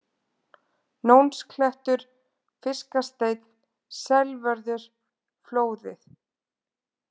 Nónsklettur, Fiskasteinn, Selvörður, Flóðið